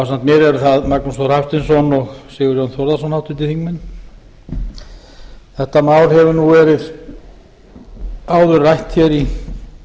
mér eru það magnús þór hafsteinsson og sigurjón þórðarson háttvirtir þingmenn þetta mál hefur verið áður rætt hér í